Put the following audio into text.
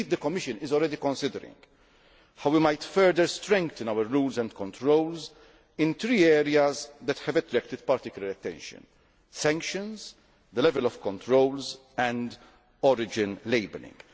Indeed, the Commission is already considering how we might further strengthen our rules and controls in three areas that have attracted particular attention sanctions, the level of controls and origin labelling.